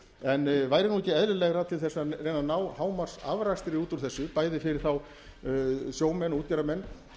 en væri ekki eðlilegra til þess að reyna að ná hámarksafrakstri út úr þessu bæði fyrir þá sjómenn og útgerðarmenn